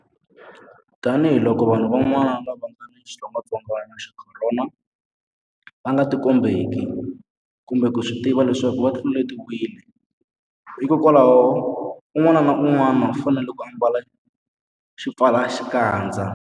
Tanihiloko vanhu van'wana lava nga ni xitsongwantsongwana xa Khorona va nga tikombeki kumbe ku swi tiva leswaku va tluletiwile, hikwalaho un'wana na un'wana u fanele ku ambala xipfalaxikandza.